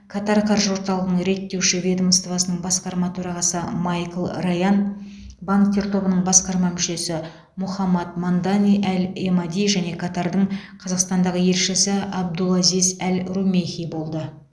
катар қаржы орталығының реттеуші ведомствосының басқарма төрағасы майкл раян банктер тобының басқарма мүшесі мохамад мандани әл эмади және катардың қазақстандағы елшісі абдулазиз әл румейхи болды